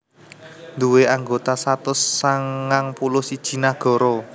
duwé anggota satus sangang puluh siji nagara